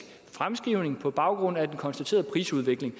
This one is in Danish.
fremskrivning på baggrund af den konstaterede prisudvikling